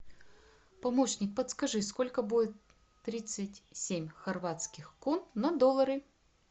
помощник подскажи сколько будет тридцать семь хорватских кун на доллары